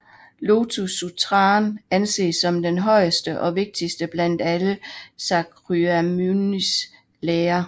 Lotus Sutraen anses som den højeste og vigtigste blandt alle Shakyamunis lærer